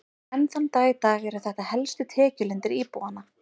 Enn þann dag í dag eru þetta helstu tekjulindir íbúanna.